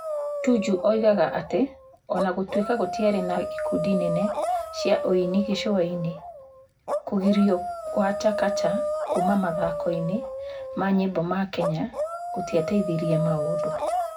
Tuju oigaga atĩ o na gũtuĩka gũtiarĩ na ikundi nene cia ũini gĩcũa-inĩ, kũgirio kwa Chakacha kuuma mathako-inĩ ma nyĩmbo ma Kenya gũtĩateithirie maũndu